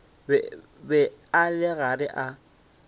be a le gare a